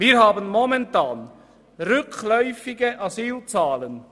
Wir haben momentan rückläufige Asylzahlen.